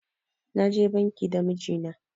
Na je banki da miji na